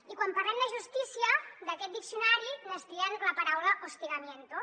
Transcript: i quan parlem de justícia d’aquest diccionari n’estiren la paraula hostigamien·to